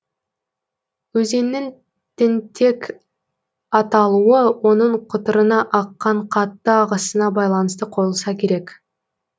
өзеннің тентек аталуы оның құтырына аққан қатты ағысына байланысты қойылса керек